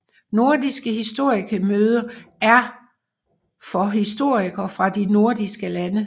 Nordiske historikemøder er møder for historikere fra de nordiske lande